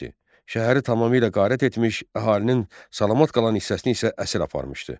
Şəhəri tamamilə qarət etmiş, əhalinin salamat qalan hissəsini isə əsir aparmışdı.